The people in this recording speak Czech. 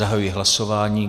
Zahajuji hlasování.